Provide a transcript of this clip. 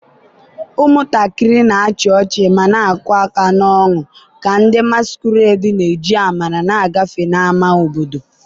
ụmụntakịrị na-achị ọchị ma na-akụ aka n'ọñụ ka ndị masquerades na-eji amara na-agafe n'ámá obodo.